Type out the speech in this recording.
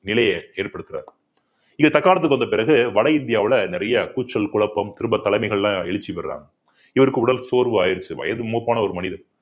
நிலையை ஏற்படுத்துறார் இது தக்காணத்துக்கு வந்த பிறகு வட இந்தியாவுல நிறைய கூச்சல் குழப்பம் திரும்ப தலைமைகள்லாம் எழுச்சி பெறுறாங்க இவருக்கு உடல் சோர்வு ஆயிருச்சு வயது மூப்பான ஒரு மனிதர்